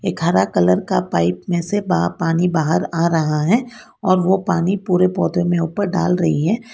हरा कलर का पाइप में से पानी बाहर आ रहा है और वो पानी पूरे पौधे में ऊपर डाल रही है।